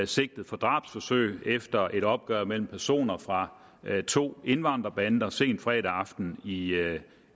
sigtet for drabsforsøg efter et opgør mellem personer fra to indvandrerbander sent fredag aften i